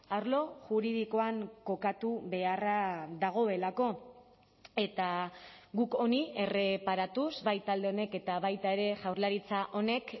arlo juridikoan kokatu beharra dagoelako eta guk honi erreparatuz bai talde honek eta baita ere jaurlaritza honek